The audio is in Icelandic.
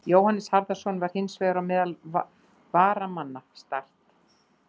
Jóhannes Harðarson var hins vegar á meðal varamanna Start.